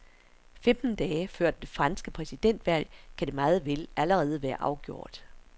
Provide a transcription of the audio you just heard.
Femten dage før det franske præsidentvalg kan det meget vel allerede være afgjort.